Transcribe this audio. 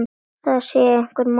Það sér hver maður.